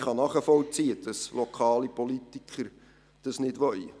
Ich kann nachvollziehen, dass lokale Politiker das nicht wollen.